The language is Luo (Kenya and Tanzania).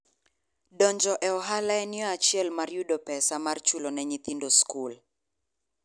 Donjo e ohala en yo achiel mar yudo pesa mar chulo ne nyithindoskul.